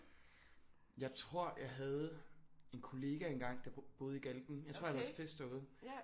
Jeg tror jeg havde en kollega en gang der boede i Galten jeg tror jeg har været til fest derude